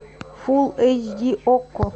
фулл эйч ди окко